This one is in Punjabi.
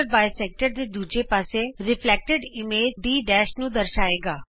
ਇਹ ਲੰਬ ਦੋਭਾਜਕ ਦੇ ਦੂਜੇ ਪਾਸੇ ਪ੍ਰਤਿਬਿੰਬਤ ਇਮੇਜ D ਨੂੰ ਦਰਸਾਏਗਾ